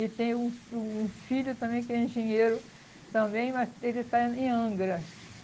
E tem um um filho também que ele é engenheiro também, mas ele está em Angra.